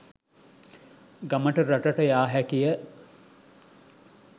ගමට රටට යා හැකිය.